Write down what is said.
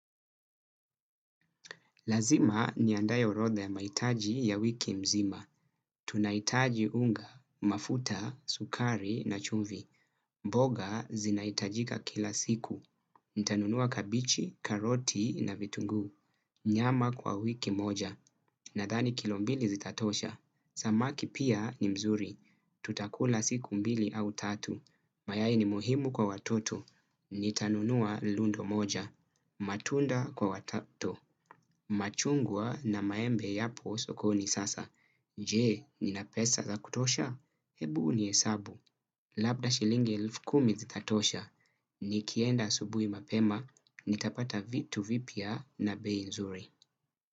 Lazima niandaye orodha ya maitaji ya wiki mzima. Tunaitaji unga, mafuta, sukari na chumvi. Boga zinahitajika kila siku. Ntanunua kabichi, karoti na vitunguu. Nyama kwa wiki moja. Nadhani kilombili zitatosha. Samaki pia ni mzuri. Tutakula siku mbili au tatu. Mayayi ni muhimu kwa watoto. Nitanunua lundo moja. Matunda kwa watoto. Machungwa na maembe yapo sokoni sasa. Jee, nina pesa za kutosha? Hebu ni hesabu. Labda shilingi elfu kumi zitatosha nikienda asubui mapema nitapata vitu vipya na bei nzuri.